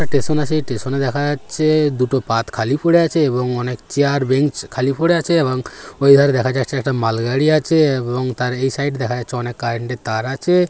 Station আছে স্টেশনে দেখা যাচ্ছে- এ দুটো পাত খালি পড়ে আছে এবং অনেক চেয়ার বেঞ্চ খালি পড়ে আছে এবং ওই ধারে দেখা যাচ্ছে একটা মাল গাড়ি আছে এবং তার এই সাইডে -এ দেখা যাচ্ছে অনেক কার্রেন্টের -এর তার আছে।